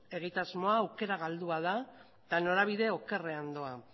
egitasmo hau aukera galdua da eta norabide okerrean doa